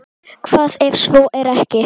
Hvað ef svo er ekki?